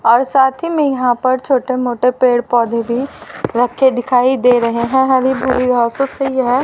और साथ ही में यहां पर छोटे मोटे पेड़ पौधे भी रखे दिखाई दे रहे हैं हरी बुरी घासों से यह--